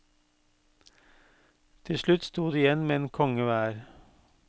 Til slutt sto de igjen med en konge hver.